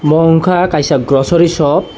bo ungkha kaisa grocery shop .